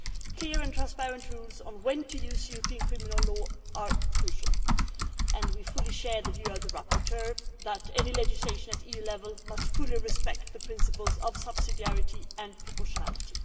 Clear and transparent rules on when to use European criminal law are crucial, and we fully share the view of the rapporteur that any legislation at EU level must fully respect the principles of subsidiarity and proportionality.